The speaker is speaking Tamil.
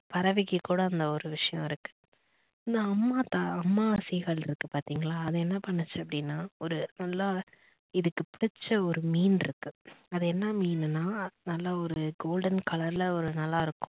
பறவைக்கு கூட அந்த ஒரு விஷயம் இருக்கு. இந்த அம்மா தாய் அம்மா seegal இருக்கு பாத்தீங்களா அது என்ன பண்ணுச்சு அப்படின்னா ஒரு நல்லா இதுக்கு புடிச்ச ஒரு மீன் இருக்கு அது என்ன மீனுனா நல்லா ஒரு golden colour ல ஒரு நல்லா இருக்கும்